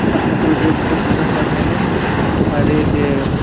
अपने प्रोजेक्ट को पूरा करने में और एक --